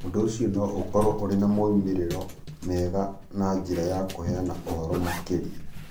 Ũndũ ũcio no ũkorũo ũrĩ na moimĩrĩro mega na njĩra ya kũheana ũhoro makĩria,